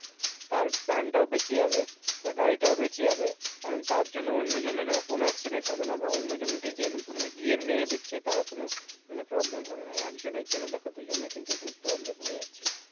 তার প্রাণটাও বেঁচে যাবে আর গাড়িটাও বেঁচে যাবে and তার জন্য অন্য জনের ও কোনো accident হবে না বা অন্য জন কে যে গিয়ে মেরে দিচ্ছে তার ও কোনো মানে problem হবে না এক জনের জন্য দেখো দু জনের কিন্তু এখানে problem হয়ে যাচ্ছে